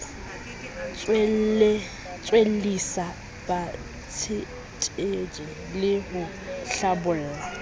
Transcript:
tswellisa batsetedi le ho hlabolla